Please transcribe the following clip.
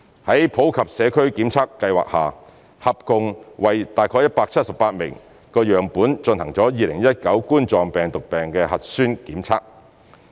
在普及社區檢測計劃下，合共為約178萬個樣本進行2019冠狀病毒病核酸檢測。